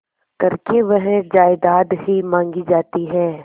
करके वह जायदाद ही मॉँगी जाती है